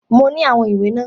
Mo ní àwọn ìwé náà.